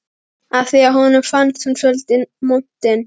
af því að honum fannst hún svolítið montin.